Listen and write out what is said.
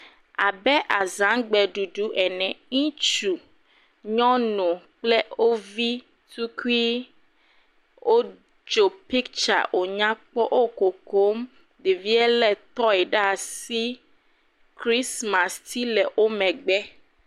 Abe azãgbe ɖuɖu ene, ŋutsu , nyɔnu kple wovi tukui wotso picture wonyakpɔ wokokom, ɖevia le tɔe ɖe asi christmas tsi le womegbe